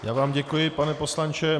Já vám děkuji, pane poslanče.